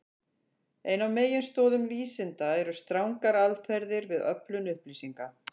Ein af meginstoðum vísinda eru strangar aðferðir við öflun upplýsinga.